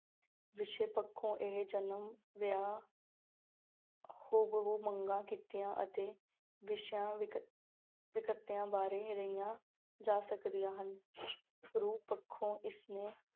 ਵਿਸ਼ੇ ਪੱਖੋਂ ਇਹ ਜਨਮ, ਵਿਆਹ ਹੂ-ਬਹੂ ਮੰਗਾਂ, ਕਿੱਤਿਆਂ ਅਤੇ ਵਿਸ਼ਿਆ ਵਿਕ~ ਵਿਅਕਤੀਆਂ ਬਾਰੇ ਰਹੀਆਂ ਜਾ ਸਕਦੀਆਂ ਹਨ ਰੂਪ ਪੱਖੋਂ ਇਸਨੂੰ